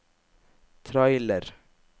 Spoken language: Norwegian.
trailer